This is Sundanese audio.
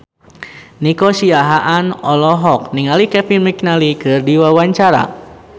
Nico Siahaan olohok ningali Kevin McNally keur diwawancara